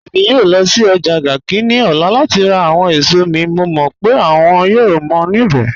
Ẹ̀mi yòò lọ́ sí ọ́jà Garki ni ọ̀lá láti rá àwọn èṣọ̀ mi, mọ̀ mọ́ pe wọ́n yòò mọ́ nibẹ̀